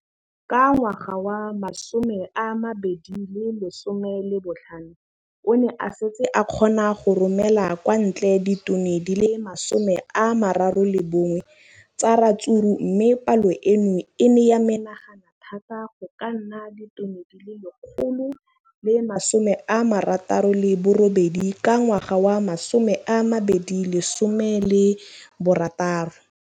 Ka ngwaga wa 2015, o ne a setse a kgona go romela kwa ntle ditone di le 31 tsa ratsuru mme palo eno e ne ya menagana thata go ka nna ditone di le 168 ka ngwaga wa 2016.